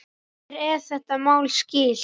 Mér er þetta mál skylt.